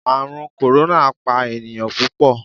Ààrùn kòrónà pa ènìyàn púpọ̀.